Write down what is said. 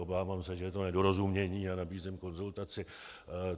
Obávám se, že je to nedorozumění, a nabízím konzultaci.